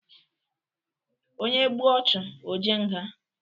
Onye gbuo ọchụ ojee nga.